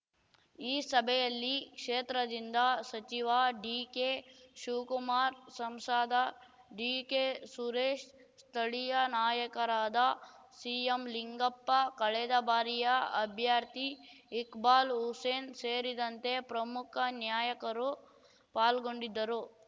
ಈ ಸಭೆಯಲ್ಲಿ ಕ್ಷೇತ್ರದಿಂದ ಸಚಿವ ಡಿಕೆ ಶಿವ್ಕುಮಾರ್‌ ಸಂಸದ ಡಿಕೆ ಸುರೇಶ್‌ ಸ್ಥಳೀಯ ನಾಯಕರಾದ ಸಿಎಂ ಲಿಂಗಪ್ಪ ಕಳೆದ ಬಾರಿಯ ಅಭ್ಯರ್ಥಿ ಇಕ್ಬಾಲ್‌ ಹುಸೇನ್‌ ಸೇರಿದಂತೆ ಪ್ರಮುಖ ನ್ಯಾಯಕರು ಪಾಲ್ಗೊಂಡಿದ್ದರು